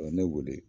O ye ne wele